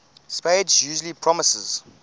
spades usually promises